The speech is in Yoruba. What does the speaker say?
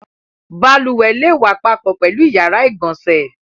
Balùwẹ̀ le wà papọ̀ pẹ̀lú ìyàrá-ìgbọǹsẹ̀.